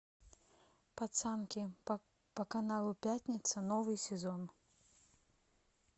пацанки по каналу пятница новый сезон